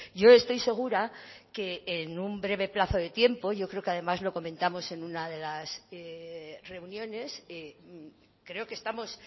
yo estoy segura que en un breve plazo de tiempo yo creo que además lo comentamos en una de las reuniones creo que estamos